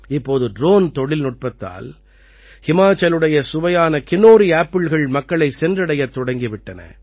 இப்போது ட்ரோன் தொழில்நுட்பத்தால் ஹிமாச்சலுடைய சுவையான கின்னோரி ஆப்பிள்கள் மக்களைச் சென்றடையத் தொடங்கி விட்டன